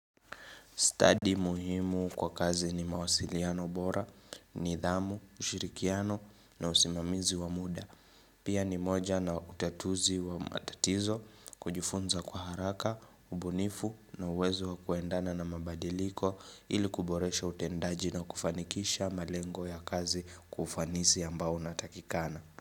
Study muhimu kwa kazi ni mawasiliano bora, nidhamu, ushirikiano na usimamizi wa muda. Pia ni moja na utatuzi wa matatizo, kujifunza kwa haraka, ubunifu na uwezo wa kuendana na mabadiliko ili kuboresha utendaji na kufanikisha malengo ya kazi kufanisi ambao natakikana.